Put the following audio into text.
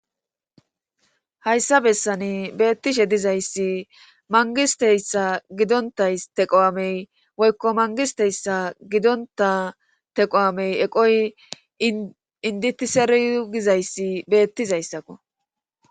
hayssa bessani beettishe dizayssi mangisteyssa gidontay teqo7amey woykko mangisteyssa gidonta teqo7amey eqoy inditiseriygizayssi beettizayssakko